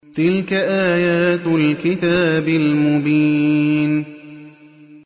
تِلْكَ آيَاتُ الْكِتَابِ الْمُبِينِ